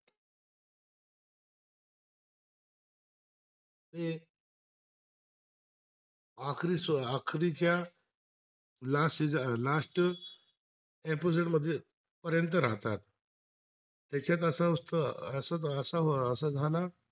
पर्यंत राहतात, त्याच्यात असं असत अं असं असं झालं